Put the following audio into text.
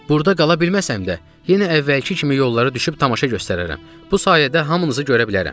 Burda qala bilməsəm də, yenə əvvəlki kimi yollara düşüb tamaşa göstərərəm, bu sayədə hamınızı görə bilərəm.